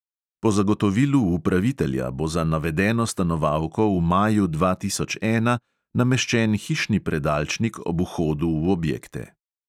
Po zagotovilu upravitelja bo za navedeno stanovalko v maju dva tisoč ena nameščen hišni predalčnik ob vhodu v objekte.